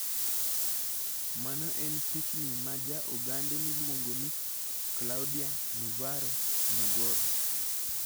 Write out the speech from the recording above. Mano en pichni ma ja Ogande miluongo ni Claudia Navarro nogoro.